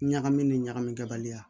Ɲagami ni ɲagamikɛ baliya